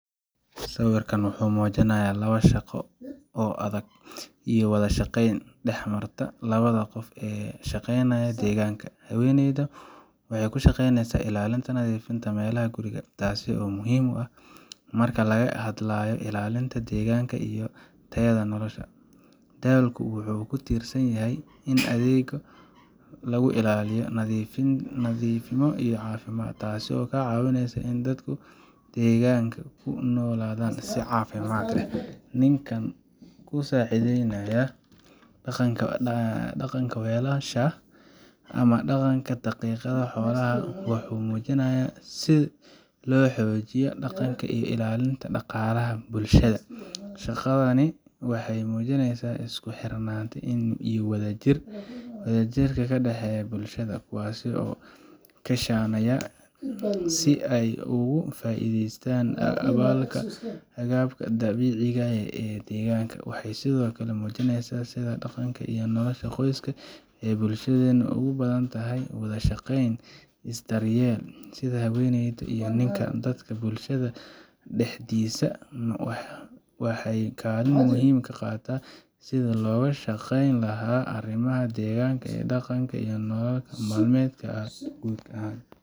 Sawirkan waxa uu muujinayaa labadaba shaqo adag iyo wada shaqeyn dhex marta labada qof ee ka shaqeynaya deegaanka. Haweeneyda waxay ku shaqeynaysaa ilaalinta nadiifnimada meelaha guriga, taas oo muhiim ah marka laga hadlayo ilaalinta deegaanka iyo tayada nolosha. Dalku wuxuu ku tiirsan yahay in deegaanka lagu ilaaliyo nadiifnimo iyo caafimaad, taasoo ka caawisa in dadka deegaanka ay ku noolaadaan si caafimaad leh. Ninka ku saacideynaya dhaqanka welasha, ama dhaqanka dhaqidda xoolaha, wuxuu muujinayaa sida loo xoojinayo dhaqanka iyo ilaalinta dhaqaalaha bulshada. Shaqadani waxay muujinaysaa isku xirnaanta iyo wada jirka ka dhexeeya bulshada, kuwaas oo kaashanaya si ay uga faa'iidaystaan agabka dabiiciga ah ee deegaanka. Waxay sidoo kale muujinaysaa sida dhaqanka iyo nolosha qoyska ee bulshadeenu ugu baahan tahay wada shaqeyn iyo daryeel. Sida haweeneyda iyo ninka, dadka bulshada dhexdiisa waxay kaalin muhiim ah ka qaataan sidii looga shaqeyn lahaa arrimaha deegaanka, dhaqanka, iyo nolol maalmeedka guud ahaan.